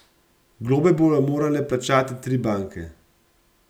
Globe bodo morale plačati tri banke.